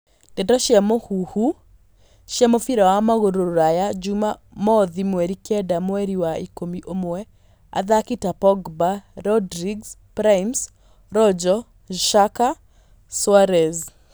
Ndeto cia mũhuhu cia mũbira wa magũrũ Rũraya juma mothi mweri kenda mweri wa ikũmi ũmwe athaki ta Pogba, Rodriguez, Primes, Rojo, Xhaka, Soares.